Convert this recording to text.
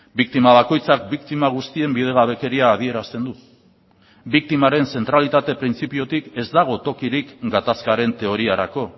biktima bakoitzak biktima guztien bidegabekeria adierazten du biktimaren zentralitate printzipiotik ez dago tokirik gatazkaren teoriarako